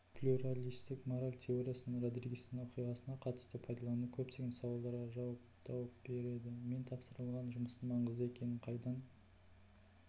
плюралистік мораль теориясын родригестің оқиғасына қатысты пайдалану көптеген сауалдарға жауап тауып береді мен тапсырылған жұмыстың маңызды екенін қайдан